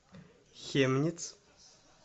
хемниц